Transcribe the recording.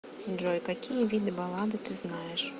джой какие виды баллады ты знаешь